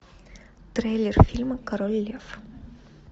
трейлер фильма король лев